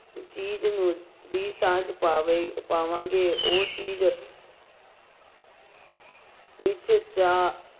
ਚੀਜ਼ ਨੂੰ ਦੀ ਸਾਂਝ ਪਾਵੇ ਪਾਵਾਂਗੇ ਉਹ ਚੀਜ਼ ਵਿੱਚ ਜਾ